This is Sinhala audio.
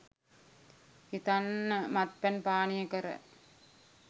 හිතන්න මත්පැන් පානය කර